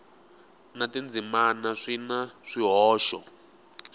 na tindzimana swi na swihoxo